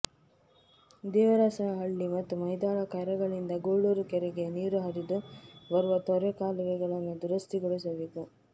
ದೇವರಸನಹಳ್ಳಿ ಮತ್ತು ಮೈದಾಳ ಕೆರೆಗಳಿಂದ ಗೂಳೂರು ಕೆರೆಗೆ ನೀರು ಹರಿದು ಬರುವ ತೊರೆ ಕಾಲುವೆಗಳನ್ನು ದುರಸ್ತಿಗೊಳಿಸಬೇಕು